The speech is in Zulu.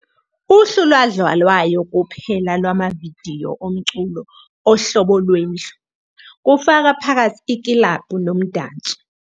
Uhlu lwadlalwayo kuphela lwamavidiyo omculo ohlobo lwendlu, kufaka phakathi iklabhu nomdanso.